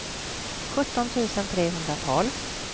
sjutton tusen trehundratolv